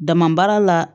Dama baara la